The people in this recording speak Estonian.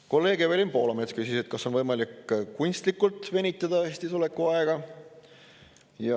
Kolleeg Evelin Poolamets küsis, et kas on võimalik kunstlikult venitada Eestis oleku aega.